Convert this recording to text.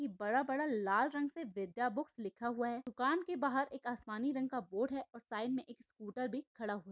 की बड़ा बड़ा लाल रंग से विद्या बुक्स लिखा हुआ है दुकान के बाहर एक आसमानी रंग का बोर्ड है और साइड में एक स्कूटर भी खडा हु--